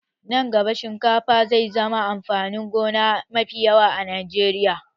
Nan gaba, shinkafa zai zama amfanin gona mafi yawa a Najeriya.